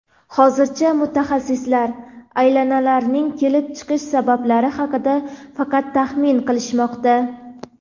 Hozircha mutaxassislar aylanalarning kelib chiqish sabablari haqida faqat taxmin qilishmoqda.